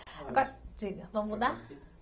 Agora, diga, vamos mudar?